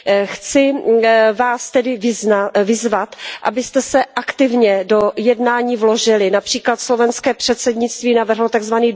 Chci Vás tedy vyzvat, abyste se aktivně do jednání vložili, například slovenské předsednictví navrhlo tzv.